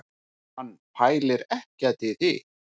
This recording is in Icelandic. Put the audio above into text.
Hann pælir ekkert í því